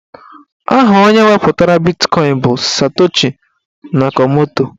Aha onye wepụtara bitkọin bụ Satoshi Nakamoto.